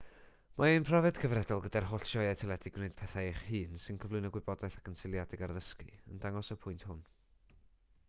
mae ein profiad cyfredol gyda'r holl sioeau teledu gwneud pethau eich hun sy'n cyflwyno gwybodaeth ac yn seiliedig ar ddysgu yn dangos y pwynt hwn